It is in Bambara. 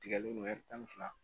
Tigɛlen don tan ni fila